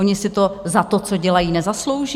Oni si to za to, co dělají, nezaslouží?